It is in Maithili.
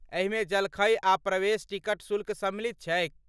एहिमे जलखै आ प्रवेश टिकट शुल्क सम्मिलित छैक।